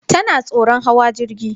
Tana tsoron hawa jirgi.